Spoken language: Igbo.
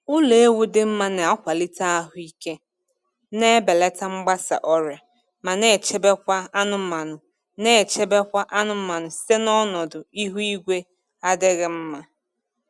Ụlọ ewu dị mma na-akwalite ahụ ike, na-ebelata mgbasa ọrịa, ma na-echebekwa anụmanụ na-echebekwa anụmanụ site n'ọnọdụ ihu igwe adịghị mma.